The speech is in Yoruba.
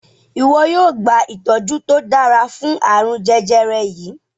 iwọ yóò gba itọju to dára fún arun jẹjẹrẹ yí.